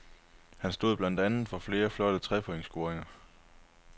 Han stod blandt andet for flere flotte trepointscoringer.